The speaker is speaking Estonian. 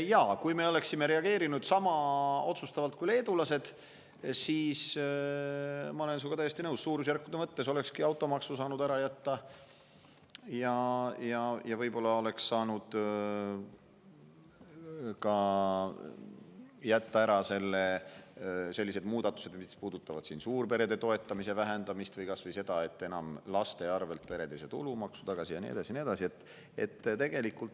Jaa, kui me oleksime reageerinud niisama otsustavalt kui leedulased, siis, ma olen sinuga täiesti nõus, suurusjärkude mõttes olekski automaksu saanud ära jätta ja võib-olla oleks saanud ära jätta ka sellised muudatused, mis puudutavad suurperede toetamise vähendamist või kas või seda, et laste pealt ei saa pered enam tulumaksu tagasi ja nii edasi ja nii edasi.